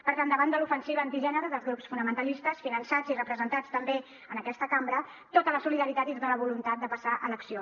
per tant davant de l’ofensiva antigènere dels grups fonamentalistes finançats i representats també en aquesta cambra tota la solidaritat i tota la voluntat de passar a l’acció